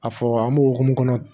A fɔ an bɛ hokumu kɔnɔ